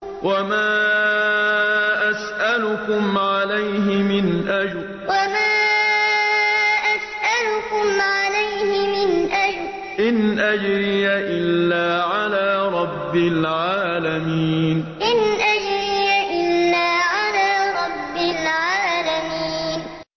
وَمَا أَسْأَلُكُمْ عَلَيْهِ مِنْ أَجْرٍ ۖ إِنْ أَجْرِيَ إِلَّا عَلَىٰ رَبِّ الْعَالَمِينَ وَمَا أَسْأَلُكُمْ عَلَيْهِ مِنْ أَجْرٍ ۖ إِنْ أَجْرِيَ إِلَّا عَلَىٰ رَبِّ الْعَالَمِينَ